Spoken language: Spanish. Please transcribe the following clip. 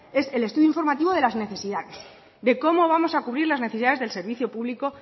es el estudio informativo de las necesidades de cómo vamos a cubrir las necesidades del servicio público